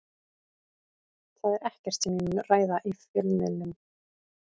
Það er ekkert sem ég mun ræða í fjölmiðlum.